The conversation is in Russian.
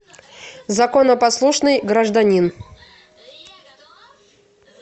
законопослушный гражданин